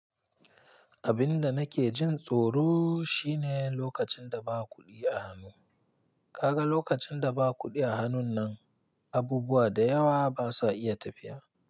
Abin da nake jin tsoro shine lokacin da ba kuɗi a hannu. Ka ga lokacin da ba kuɗi a hannun nan, abubuwa da yawa ba sa iya tafiya.